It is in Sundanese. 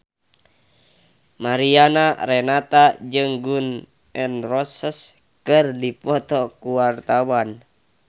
Mariana Renata jeung Gun N Roses keur dipoto ku wartawan